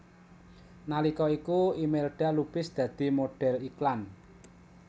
Nalika iku Imelda Lubis dadi modhel iklan